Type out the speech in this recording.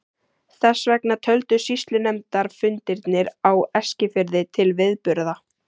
Þess vegna töldust sýslunefndarfundirnir á Eskifirði til viðburða.